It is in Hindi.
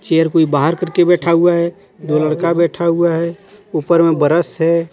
चेयर कोई बहार करके बैठा हुआ हे दो लड़का बैठा हुआ हे ऊपर मे बरस हे.